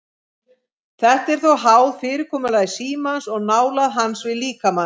Þetta er þó háð fyrirkomulagi símans og nálægð hans við líkamann.